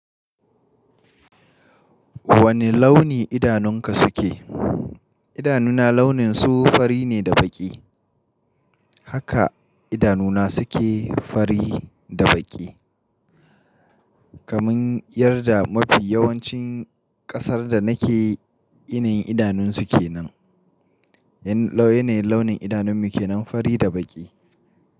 Wane launi idanunka suke? Idanuna launin su fari ne da baƙi. Haka idanuna suke fari da baƙi. Kaman yarda mafi yawancin ƙasar da nake irin idanun suke nan. Yanayin launin idanunmu ke nan fari da baƙi.